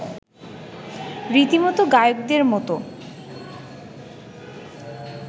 রীতিমতো গায়কদের মতো